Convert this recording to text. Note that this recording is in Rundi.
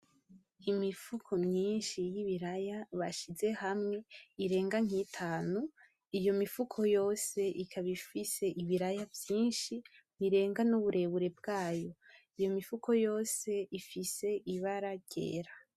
Imifuko myinshi y'ibiraya bashize hamwe irenga nk'itanu iyo mifuko yose ikaba ifise ibiraya vyinshi birenga n'uburebure bwayo iyo mifuko yose ifise ibara ryera.